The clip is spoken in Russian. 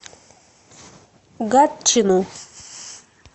гатчину